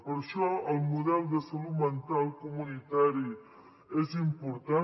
per això el model de salut mental comunitari és important